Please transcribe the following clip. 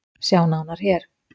Sjá nánar hér